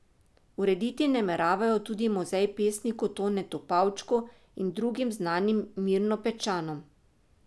Urediti nameravajo tudi muzej pesniku Tonetu Pavčku in drugim znanim Mirnopečanom.